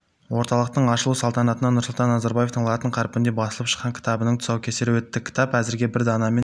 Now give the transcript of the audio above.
орталықтың ашылу салтанатында нұрсұлтан назарбаевтың латын қарпінде басылып шыққан кітабының тұсаукесері өтті кітап әзірге бір данамен